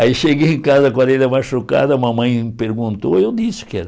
Aí cheguei em casa com a orelha machucada, a mamãe me perguntou, eu disse que era.